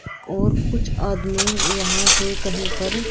और कुछ आदमी यहां से कहीं पर--